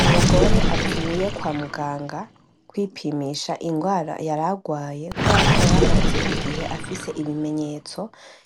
Umugore avuye kwa muganga, kwipimisha ingwara yaragwaye, kuberako yaramaze igihe afis' ibimenyotso